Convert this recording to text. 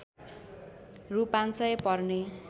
रु ५०० पर्ने